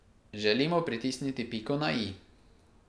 Želimo pritisniti piko na i.